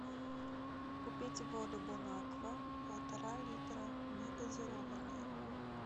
купить воду бонаква полтора литра негазированная